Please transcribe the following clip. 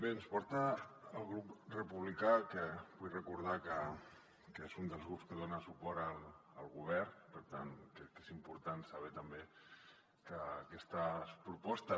bé ens porta el grup republicà que vull recordar que és un dels grups que dona suport al govern per tant crec que és important saber també que aquestes propostes